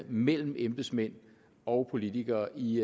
mellem embedsmænd og politikere i